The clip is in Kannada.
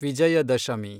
ವಿಜಯದಶಮಿ